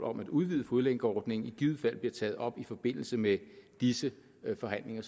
om at udvide fodlænkeordningen i givet fald bliver taget op i forbindelse med disse forhandlinger